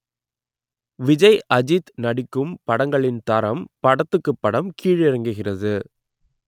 விஜய் அஜித் நடிக்கும் படங்களின் தரம் படத்துக்குப் படம் கீழிறங்குகிறது